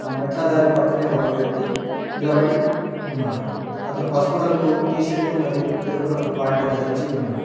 మెట్ల దారి పక్కనే ఒక వ్యక్తి నిలబడి ఉన్నాడు అతను పసుపు రంగు టీ షర్టు మరియు ఎరుపు రంగు పాయింటు ధరించి ఉన్నాడు.